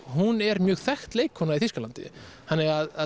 hún er mjög þekkt leikkona í Þýskalandi þannig að